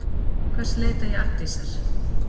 Til hvers leita ég Arndísar?